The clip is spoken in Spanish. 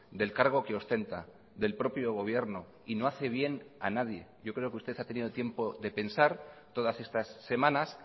del cargo que ostenta del propio gobierno y no hace bien a nadie yo creo que usted ha tenido tiempo de pensar todas estas semanas